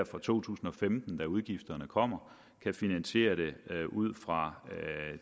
fra to tusind og femten hvor udgifterne kommer kan finansiere det ud fra